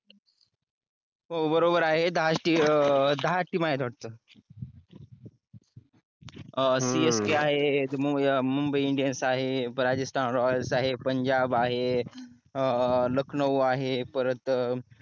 हो बरोबर आहे दहाच team आहेत वाटत csk आहेत अं मुंबई indian आहे राजस्थान royal आहे पंजाब आहे लखनौ आहे परत